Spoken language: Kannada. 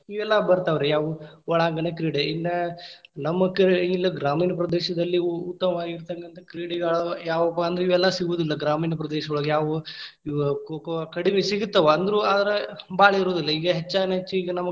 ಇವೆಲ್ಲಾ ಬರ್ತಾವ್ರಿ, ಅವು ಒಳಾಂಗಣ ಕ್ರೀಡೆ. ಇನ್ನ್ ನಮಕ್‌ ಇಲ್ ಗ್ರಾಮೀಣ ಪ್ರದೇಶದಲ್ಲಿ ಇವು ಉತ್ತಮವಾಗಿರತಕ್ಕಂತಹ ಕ್ರೀಡೆಗಳು ಯಾವಪ್ಪಾ ಅಂದ್ರ ಇವೆಲ್ಲಾ ಸಿಗುದಿಲ್ಲಾ ಗ್ರಾಮೀಣ ಪ್ರದೇಶದೊಳಗ್ ಯಾವುವು, ಇವ್ ಕೋ ಕೋ, ಕಡಿಮಿ ಸಿಗುತ್ತಾವ ಅಂದ್ರ, ಆದ್ರೂ ಭಾಳ ಇರುದಿಲ್ಲಾ ಈಗ ಹೆಚ್ಚಾನೆಚ್ಚ ಈಗ ನಮಗ್‌.